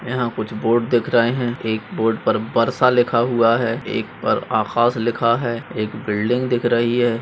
यहा कुछ बोर्ड दिख रहे है एक बोर्ड पर बरसा लिखा हुआ है एक पर आकाश लिखा है एक बिल्डिंग दिख रही है।